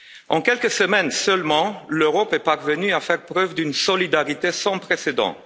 En quelques semaines seulement, l'Europe est parvenue à faire preuve d'une solidarité sans précédent